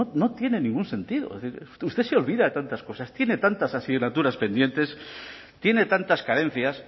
no tiene ningún sentido es decir usted se olvida de tantas cosas tiene tantas asignaturas pendientes tiene tantas carencias